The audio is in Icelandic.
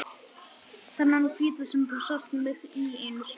Þennan hvíta sem þú sást mig í einu sinni.